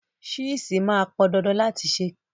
Ṣíìsì máa pọn dandan láti ṣe písà.